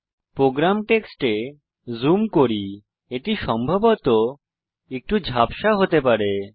programme টেক্সটে zoom করি এটি সম্ভবত একটু ঝাপসা হতে পারে